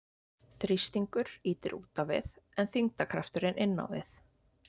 Þrýstingur ýtir út á við en þyngdarkrafturinn inn á við.